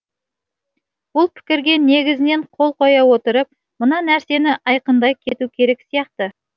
бұл пікірге негізінен қол қоя отырып мына нәрсені айқындай кету керек сияқты